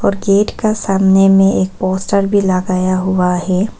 Gate का सामने में एक पोस्टर भी लगाया हुआ है।